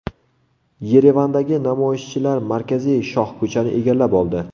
Yerevandagi namoyishchilar markaziy shohko‘chani egallab oldi.